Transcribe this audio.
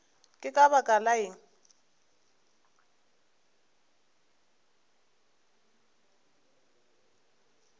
ke ka baka la eng